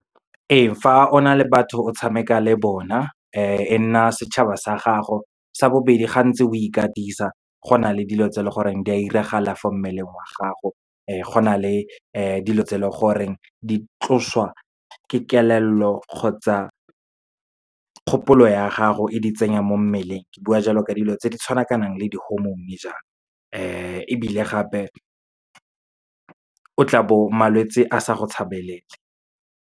Ee, fa o na le batho o tshameka le bona, e nna setšhaba sa gago. Sa bobedi, ga ntse o ikatisa go na le dilo tse leng gore di a iragala fo mmeleng wa gago, go na le dilo tse leng gore di tloswa ke kelello kgotsa kgopolo ya gago, e di tsenya mo mmeleng. Ke bua jalo ka dilo tse di tshwanakanang le di-hormone jalo, ebile gape o tlabo malwetsi a sa go tshabelele.